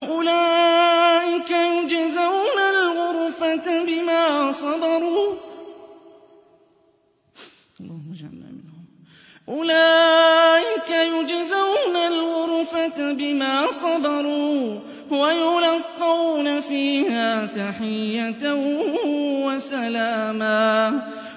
أُولَٰئِكَ يُجْزَوْنَ الْغُرْفَةَ بِمَا صَبَرُوا وَيُلَقَّوْنَ فِيهَا تَحِيَّةً وَسَلَامًا